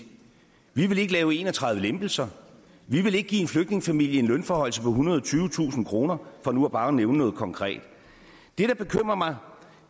vi ville ikke lave en og tredive lempelser vi ville ikke give en flygtningefamilie en lønforhøjelse på ethundrede og tyvetusind kroner for nu bare at nævne noget konkret det der bekymrer mig